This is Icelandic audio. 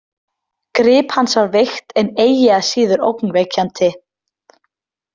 Grip hans var veikt en eigi að síður ógnvekjandi.